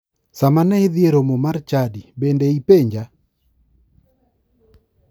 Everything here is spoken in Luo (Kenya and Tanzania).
Sama ne idhi e romo mar chadi bende ipenja?